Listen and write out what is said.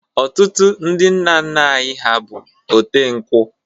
Otụtụ ndi nna nna anyi ha bụ ote nkwụ